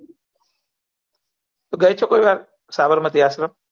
તું ગઈ છે કોઈ વાર સાબરમતી આશ્રમ